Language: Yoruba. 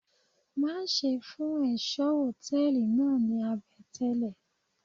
Má ṣe fún ẹ̀ṣọ́ Hòtẹ́lìì náà ní àbẹ̀tẹ́lè.